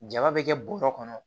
Jama bɛ kɛ bɔrɔ kɔnɔ